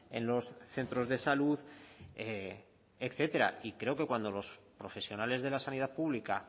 en los centros de salud etcétera y creo que cuando los profesionales de la sanidad pública